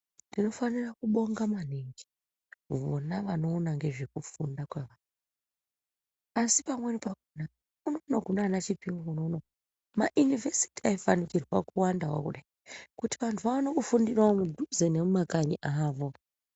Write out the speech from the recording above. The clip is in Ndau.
Ndinofarira kubonga maningi vona vanoona ngezvekufunda asi pamweni pakona unono kunanaChipinge unono ma yunivhesiti aifanikirwa kuwandawo kudai kuti vandu vaone kufundira kudhuze nekumakanyi avo